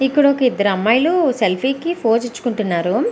ఇక్కడ ఒక ఇద్దరు అమ్మాయిలు సెల్ఫీ కి పోజ్ ఇచ్చుకుంటున్నారు.